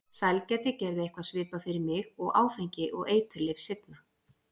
Sælgæti gerði eitthvað svipað fyrir mig og áfengi og eiturlyf seinna.